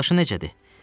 Qardaşın necədir?